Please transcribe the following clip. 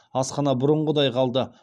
асхана бұрынғыдай қалды